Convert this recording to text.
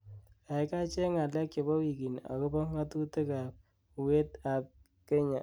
gaigai cheng' ngalek chebo wigini agopo ng'atutik ab uet ab kenya